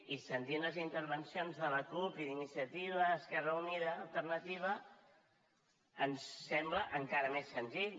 i sentint les intervencions de la cup i d’iniciativa esquerra unida alternativa ens sembla encara més senzill